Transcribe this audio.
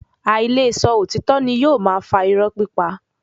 Áí le sọ òtítọ́ ni yóò máa fa iró pípa.